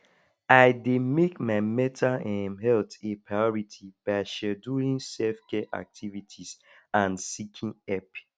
i dey make my mental um health a priority by scheduling selfcare activities and seeking help